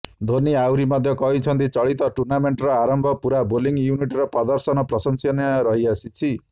ଧୋନି ଆହୁରି ମଧ୍ୟ କହିଛନ୍ତି ଚଳିତ ଟୁର୍ଣ୍ଣାମେଣ୍ଟର ଆମର ପୂରା ବୋଲିଂ ୟୁନିଟର ପ୍ରଦର୍ଶନ ପ୍ରଶଂସନୀୟ ରହିଆସିଛି